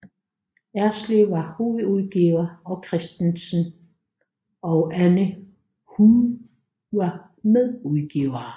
Erslev var hovedudgiver og Christensen og Anna Hude var medudgivere